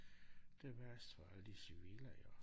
Det værst for alle de civile jo